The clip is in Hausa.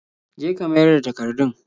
Je ka mayar da takardun.